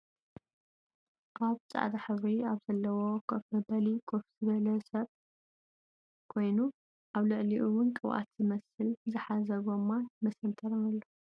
ኣብ ፃዕዳ ሕብሪ ኣብ ዘለዎ ከፍ መበሊ ከፍ ዝበለ ኮይኑ ኣብ ልዕሊኡ እውን ቅብኣት ዝመስል ዝሓዘ ጎማን መሰንተርን ኣሎ ።